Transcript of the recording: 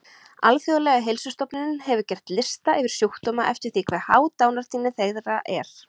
Alþjóðlega heilsustofnunin hefur gert lista yfir sjúkdóma eftir því hve há dánartíðni þeirra er.